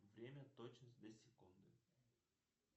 время точность до секунды